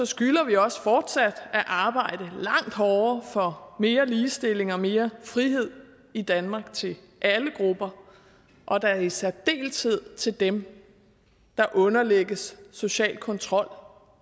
skylder vi også fortsat at arbejde langt hårdere for mere ligestilling og mere frihed i danmark til alle grupper og da i særdeleshed dem der underlægges social kontrol